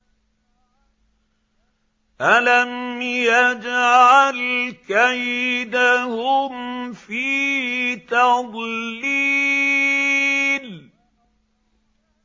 أَلَمْ يَجْعَلْ كَيْدَهُمْ فِي تَضْلِيلٍ